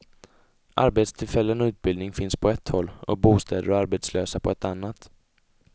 Arbetstillfällen och utbildning finns på ett håll och bostäder och arbetslösa på ett annat.